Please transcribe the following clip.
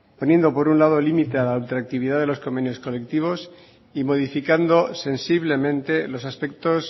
poniendo por un lado límite a la ultraactividad de los convenios colectivos y modificando sensiblemente los aspectos